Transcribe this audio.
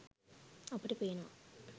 අපට පේනවා